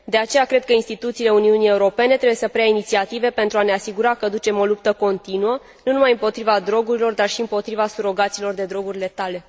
De aceea, cred că instituțiile Uniunii Europene trebuie să preia inițiative pentru a ne asigura că ducem o luptă continuă nu numai împotriva drogurilor, dar și împotriva surogatelor de droguri letale.